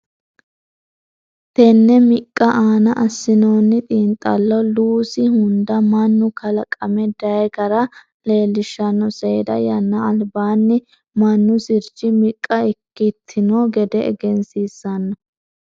Tenne miqqa aana assinoonni xiinxallo Luusi hunda mannu kalaqame day gara leellishshanno seeda yannara albaanni mannu sirchi miqqa ikkitino gede egensiissanno.